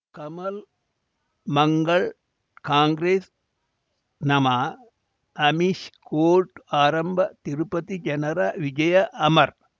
ಕಮಲ್ ಮಂಗಳ್ ಕಾಂಗ್ರೆಸ್ ನಮಃ ಅಮಿಷ್ ಕೋರ್ಟ್ ಆರಂಭ ತಿರುಪತಿ ಜನರ ವಿಜಯ ಅಮರ್